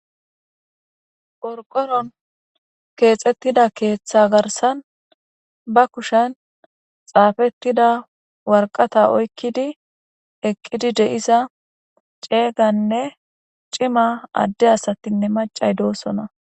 Qorqonon keexettida keeththa garsan ba kushen xaafettida warqata oykkidi eqqidi deisa ceeyganne cima adde asatinne macay doosona.